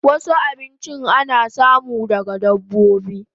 Wasu abinchin ana samu daga dabbobi